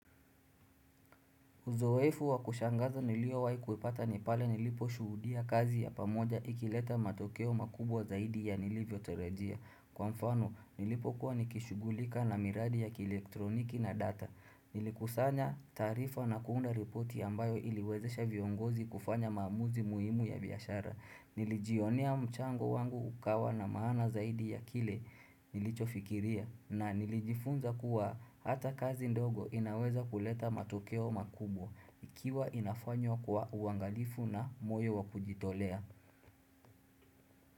Uzoefu wa kushangaza niliyowahi kuipata ni pale nilipo shuhudia kazi ya pamoja ikileta matokeo makubwa zaidi ya nilivyo tarajia. Kwa mfano, nilipokuwa nikishughulika na miradi ya ki-elektroniki na data. Nilikusanya taarifa na kuunda ripoti ambayo iliwezesha viongozi kufanya maamuzi muhimu ya biashara. Nilijionea mchango wangu ukawa na maana zaidi ya kile nilicho fikiria. Na nilijifunza kuwa hata kazi ndogo inaweza kuleta matokeo makubwa ikiwa inafanywa kwa uangalifu na moyo wa kujitolea.